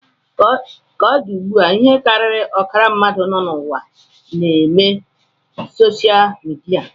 Ka o di taa, ihe karịrị ọkara ndị mmadụ nọ n'ụwa na-eme soshal midia